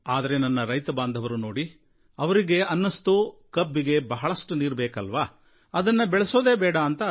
ಆದರೆ ಈ ನನ್ನ ರೈತಬಾಂಧವರು ನೋಡಿ ಅವರಿಗೆ ಅನ್ನಿಸ್ತು ಕಬ್ಬಿಗೆ ಬಹಳಷ್ಟು ನೀರು ಬೇಕಲ್ವಾ ಅದನ್ನು ಬೆಳೆಯೋದೇ ಬೇಡ ಅಂತ